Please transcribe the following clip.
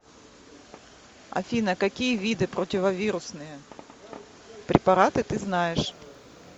афина какие виды противовирусные препараты ты знаешь